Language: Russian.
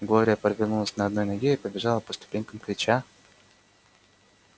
глория повернулась на одной ноге и побежала по ступенькам крича